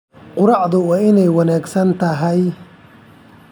Quraacdu waa inay wanaagsan tahay.